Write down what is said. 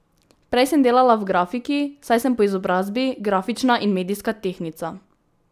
Prej sem delala v grafiki, saj sem po izobrazbi grafična in medijska tehnica.